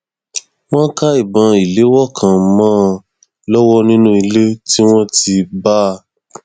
wọn ká ìbọn ìléwọ kan mọ ọn lọwọ nínú ilé tí wọn ti bá a